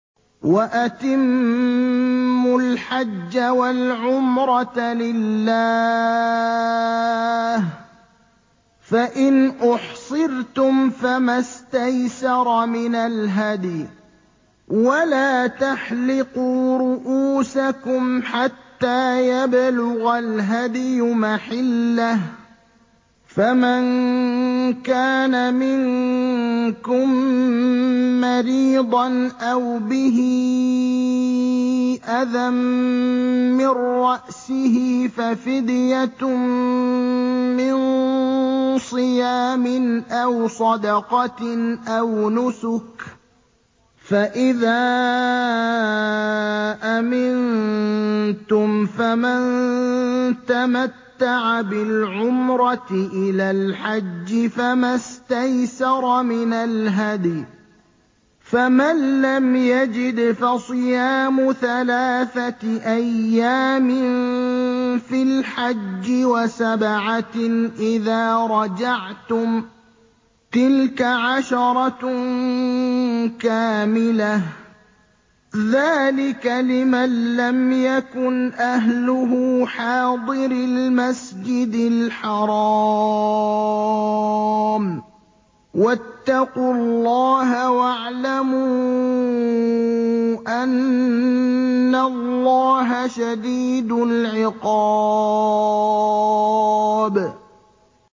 وَأَتِمُّوا الْحَجَّ وَالْعُمْرَةَ لِلَّهِ ۚ فَإِنْ أُحْصِرْتُمْ فَمَا اسْتَيْسَرَ مِنَ الْهَدْيِ ۖ وَلَا تَحْلِقُوا رُءُوسَكُمْ حَتَّىٰ يَبْلُغَ الْهَدْيُ مَحِلَّهُ ۚ فَمَن كَانَ مِنكُم مَّرِيضًا أَوْ بِهِ أَذًى مِّن رَّأْسِهِ فَفِدْيَةٌ مِّن صِيَامٍ أَوْ صَدَقَةٍ أَوْ نُسُكٍ ۚ فَإِذَا أَمِنتُمْ فَمَن تَمَتَّعَ بِالْعُمْرَةِ إِلَى الْحَجِّ فَمَا اسْتَيْسَرَ مِنَ الْهَدْيِ ۚ فَمَن لَّمْ يَجِدْ فَصِيَامُ ثَلَاثَةِ أَيَّامٍ فِي الْحَجِّ وَسَبْعَةٍ إِذَا رَجَعْتُمْ ۗ تِلْكَ عَشَرَةٌ كَامِلَةٌ ۗ ذَٰلِكَ لِمَن لَّمْ يَكُنْ أَهْلُهُ حَاضِرِي الْمَسْجِدِ الْحَرَامِ ۚ وَاتَّقُوا اللَّهَ وَاعْلَمُوا أَنَّ اللَّهَ شَدِيدُ الْعِقَابِ